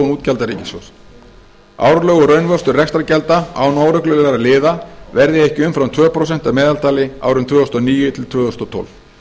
útgjalda ríkissjóðs árlegur raunvöxtur rekstrargjalda án óreglulegra liða verði ekki umfram tvö komma núll prósent að meðaltali árin tvö þúsund og níu til tvö þúsund og tólf